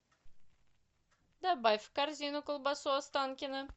добавь в корзину колбасу останкино